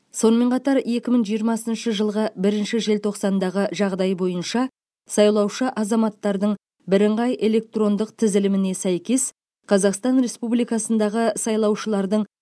сонымен қатар екі мың жиырмасыншы жылғы бірінші желтоқсандағы жағдай бойынша сайлаушы азаматтардың бірыңғай электрондық тізіліміне сәйкес қазақстан республикасындағы сайлаушылардың